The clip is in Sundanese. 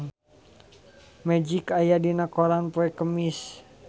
Magic aya dina koran poe Kemis